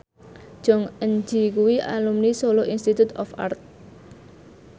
Jong Eun Ji kuwi alumni Solo Institute of Art